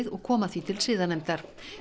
og koma því til siðanefndar